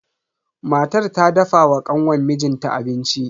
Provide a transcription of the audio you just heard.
Matar ta dafa wa kanwan mijin ta abinci.